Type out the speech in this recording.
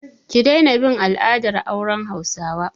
Ki daina bin al'adar auren hausawa!